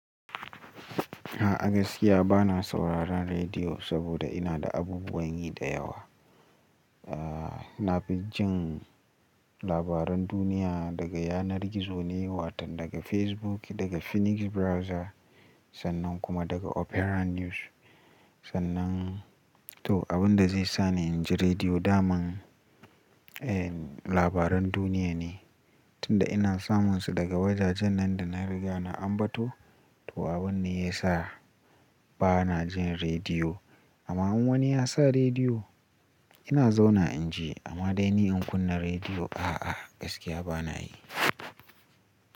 A gaskiya ba na sauraron radio saboda ina da abubuwan yi da yawa. Na fi jin labaran duniya daga yanar gizo ne, wato daga Facebook, daga Phoenix Browser sannan kuma daga Opera News. To, abin da zai sa ni in ji radiyo daman labaran duniya ne, tunda ina samun su daga wajajen nan da na riga na ambato. To, abun ne ya sa ba na jin rediyo. Amma in wani ya sa rediyo, ina zauna in ji. Amma dai ni in kunna rediyo, a'a, gaskiya ba na yi.